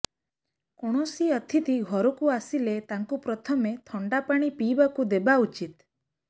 କୌଣସି ଅତିଥି ଘରକୁ ଆସିଲେ ତାଙ୍କୁ ପ୍ରଥମେ ଥଣ୍ଡା ପାଣି ପିଇବାକୁ ଦେବା ଉଚିତ